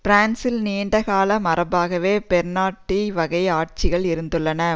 பிரான்சில் நீண்டகால மரபாகவே பொனபார்ட்டிச வகை ஆட்சிகள் இருந்துள்ளன